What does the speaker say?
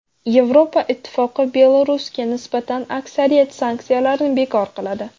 Yevropa Ittifoqi Belarusga nisbatan aksariyat sanksiyalarni bekor qiladi.